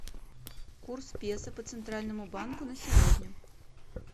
курс песо по центральному банку на сегодня